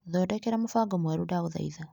Thondekera mũbango mwerũ ndagũthaitha .